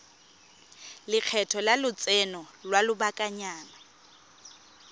lekgetho la lotseno lwa lobakanyana